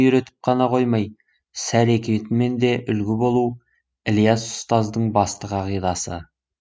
үйретіп қана қоймай іс әрекетімен де үлгі болу ілияс ұстаздың басты қағидасы